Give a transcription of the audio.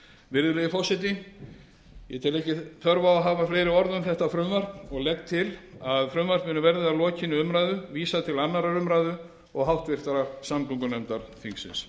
virðulegi forseti ég tel ekki þörf á að hafa fleiri orð um þetta frumvarp og legg til að frumvarpinu verði að lokinni umræðu vísað til annarrar umræðu og háttvirtrar samgöngunefndar þingsins